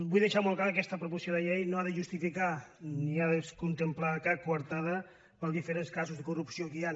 vull deixar molt clar que aquesta proposició de llei no ha de justificar ni ha de contemplar cap coartada per als diferents casos de corrupció que hi han